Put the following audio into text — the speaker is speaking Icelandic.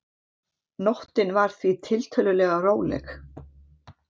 Nóttin var því tiltölulega róleg